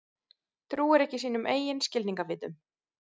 Trúir ekki sínum eigin skilningarvitum.